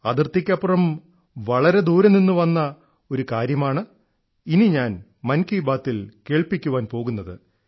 അതിർത്തിക്കപ്പുറം വളരെ ദൂരെ നിന്നു വന്ന ഒരു കാര്യമാണ് ഇനി ഞാൻ മൻ കീ ബാത്തിൽ കേൾപ്പിക്കാൻ പോകുന്നത്